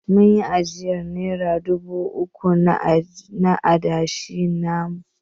Mun yi ajiya na nera dubu uku na adashi namu.